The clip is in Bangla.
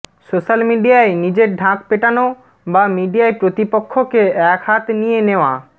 সোশ্যাল মিডিয়ায় নিজের ঢাক পেটানো বা মিডিয়ায় প্রতিপক্ষকে একহাত নিয়ে নেওয়া